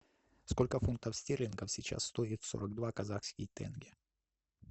сколько фунтов стерлингов сейчас стоит сорок два казахский тенге